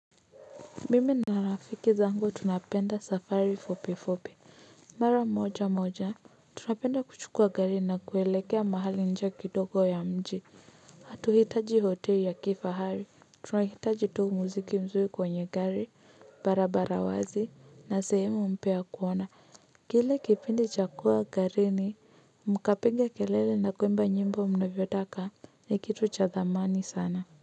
Mimi na rafiki zangu tunapenda safari fupi fupi mara moja moja tunapenda kuchukua gari na kuelekea mahali nje kidogo ya mji hatuhitaji hoteli ya kifahari tunahitaji tu muziki mzuri kwenye gari barabara wazi na sehemu mpya ya kuona kile kipindi cha kuwa garini mkapiga kelele na kuimba nyimbo mnavyotaka ni kitu cha dhamani sana.